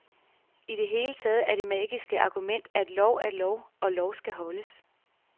I det hele taget er det magiske argument, at lov er lov og lov skal holdes.